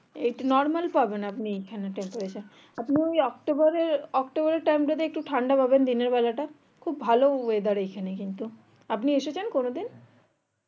একটু normal পাবেন আপনি এখানে tempareture আপনি ওই অক্টোবর অক্টোবরের এর time টা তে একটু ঠান্ডা পাবেন দিনের বেলাটা খুব ভালো weather এখানে কিন্তু আপনি এসেছেন কোনোদিন